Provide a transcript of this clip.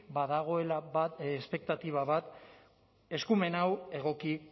badagoela espektatiba bat eskumen hau egoki